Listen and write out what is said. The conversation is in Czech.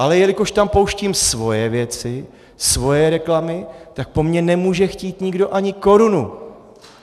Ale jelikož tam pouštím svoje věci, svoje reklamy, tak po mně nemůže chtít nikdo ani korunu.